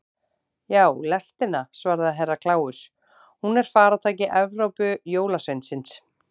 Já, lestina, svaraði Herra Kláus, hún er faratæki Evrópujólasveinsins.